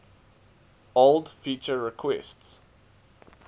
old feature requests